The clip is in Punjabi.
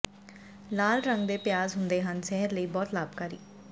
ਲਾਲ ਰੰਗ ਦੇ ਪਿਆਜ ਹੁੰਦੇ ਹਨ ਸਿਹਤ ਲਈ ਬਹੁਤ ਲਾਭਕਾਰੀ